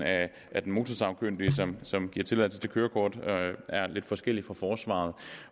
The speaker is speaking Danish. af den motorsagkyndige som som giver tilladelse til kørekort er lidt forskellig for henholdsvis forsvaret